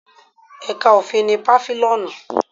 Ẹ̀ka òfin ní Pàfílíọ́nù